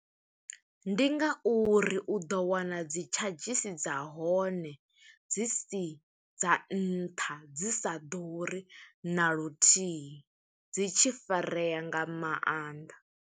Ndi nga uri u ḓo wana dzi tshadzhisi dza hone, dzi si dza nṱha, dzi sa ḓuri na luthihi, dzi tshi farea nga mannḓa.